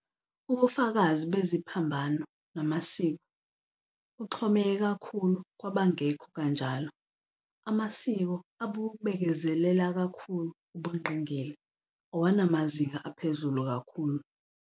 Ubufakazi beziphambano namasiko buxhomeke kakhulu kwabangekho kanjalo Amasiko abubekezelela kakhulu ubungqingili awanamazinga aphezulu kakhulu.